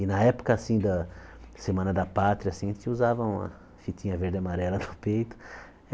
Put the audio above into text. E na época, assim, da Semana da Pátria, assim, a gente usava uma fitinha verde e amarela no peito.